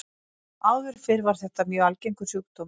Áður fyrr var þetta mjög algengur sjúkdómur.